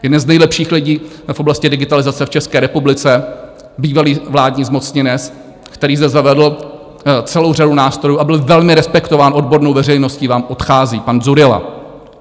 Jeden z nejlepších lidí v oblasti digitalizace v České republice, bývalý vládní zmocněnec, který zde zavedl celou řadu nástrojů a byl velmi respektován odbornou veřejností, vám odchází - pan Dzurilla.